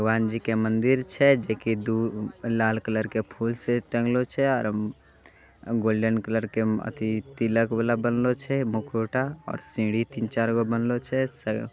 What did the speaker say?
भगवान जी के मंदिर छै जेके दु लाल कलर के फूल से टँगलो छै। आर अम्म गोल्डन कलर के अत्थी तिलक-विलक बनलों छै। मुखौटा और सीढ़ी तीन-चार गो बनलों छै। सग--